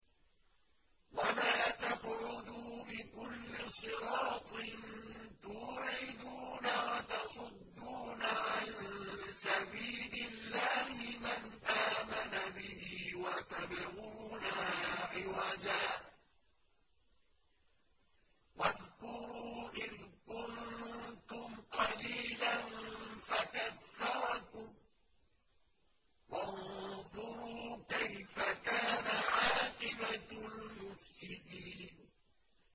وَلَا تَقْعُدُوا بِكُلِّ صِرَاطٍ تُوعِدُونَ وَتَصُدُّونَ عَن سَبِيلِ اللَّهِ مَنْ آمَنَ بِهِ وَتَبْغُونَهَا عِوَجًا ۚ وَاذْكُرُوا إِذْ كُنتُمْ قَلِيلًا فَكَثَّرَكُمْ ۖ وَانظُرُوا كَيْفَ كَانَ عَاقِبَةُ الْمُفْسِدِينَ